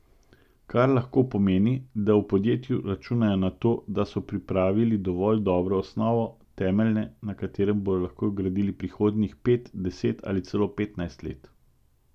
Kar lahko pomeni, da v podjetju računajo na to, da so pripravili dovolj dobro osnovo, temelje, na katerih bodo lahko gradili prihodnjih pet, deset ali celo petnajst let.